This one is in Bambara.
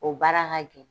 O baara ka gɛlɛn